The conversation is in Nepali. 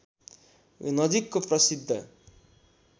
नजिकको प्रसिद्ध